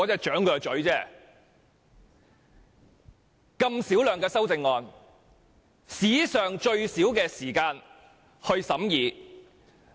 處理如此小量的修正案，只須花史上最短的時間審議。